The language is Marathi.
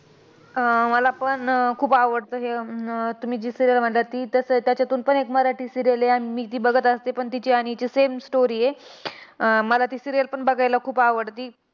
अह मलापण खूप आवडतं हे अं तुम्ही जी serial म्हणता ती. तस त्याच्यातून पण एक मराठी serial आहे, आणि मी ती बघत असते. पण तिची आणि हिची same story आहे. अह मला ती serial पण बघायला खूप आवडती.